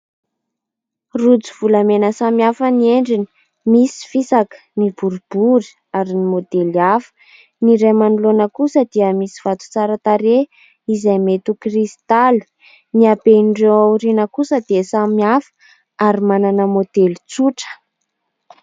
Rojo volamena samihafa ny endriny. Misy fisaka, ny boeibory, ary ny môdely hafa. Ny iray manoloana kosa dia misy vato tsara tarehy izay mety ho kristalo, ny haben'ireo ao aoriana kosa dia samihafa ary manana môdely tsotra.